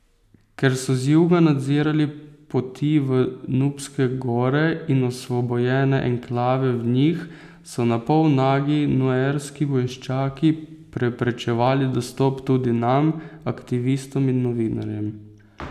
Ker so z juga nadzirali poti v Nubske gore in osvobojene enklave v njih, so na pol nagi nuerski vojščaki preprečevali dostop tudi nam, aktivistom in novinarjem.